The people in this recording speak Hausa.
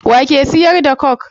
Wa ke siyar da coke?